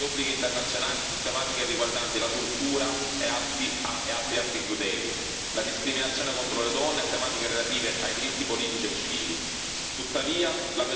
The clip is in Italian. Il governo continua a violare gli obblighi internazionali su tematiche riguardanti la tortura e altri atti crudeli, la discriminazione contro le donne e tematiche relative ai diritti politici e civili.